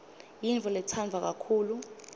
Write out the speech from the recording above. yintfo letsandvwa kakhulu